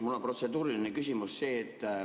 Mul on protseduuriline küsimus.